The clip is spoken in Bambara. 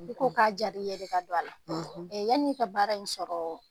I ko k'a jaara i ye de ka don a la yanni e ka baara in sɔrɔ